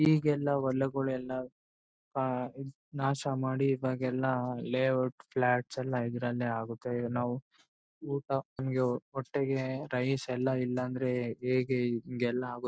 ಈಗ್ ಎಲ್ಲ ಹೊಲಗಳು ಎಲ್ಲ ಆಹ್ಹ್ ನಾಶಮಾಡಿ ಇವಾಗ್ ಎಲ್ಲ ಲೇಔಟ್ ಪ್ಲಾಟ್ ಎಲ್ಲ ಇದರಲ್ಲೇ ಆಗುತ್ತಾ ಏನು ಊಟ ನಮಗೆ ಹೊಟ್ಟೆಗೆ ರೈಸ್ ಎಲ್ಲ ಇಲ್ಲ ಅಂದ್ರೆ ಹೇಗೆ ಇಂಗೆ ಎಲ್ಲ ಆಗುತ್ತೆ--